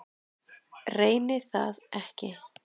Reyni það ekki.